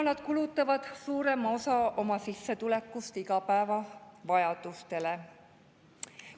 … kuna nad kulutavad suurema osa oma sissetulekust igapäevavajadustele.